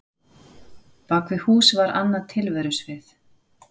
Bak við hús var annað tilverusvið.